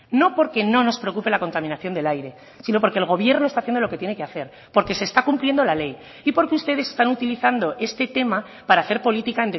no porque no nos preocupe la contaminación del aire sino porque el gobierno está haciendo lo que tiene que hacer porque se está cumpliendo la ley y porque ustedes están utilizando este tema para hacer política